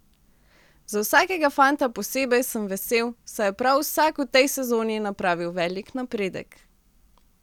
Za vsakega fanta posebej sem vesel, saj je prav vsak v tej sezoni napravil velik napredek.